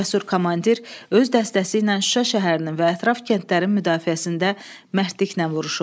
Cəsur komandir öz dəstəsi ilə Şuşa şəhərinin və ətraf kəndlərin müdafiəsində mərdliklə vuruşub.